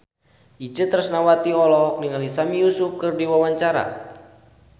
Itje Tresnawati olohok ningali Sami Yusuf keur diwawancara